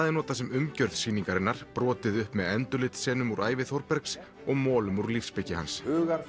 er notað sem umgjörð sýningarinnar brotið upp með úr ævi Þórbergs og molum úr lífsspeki hans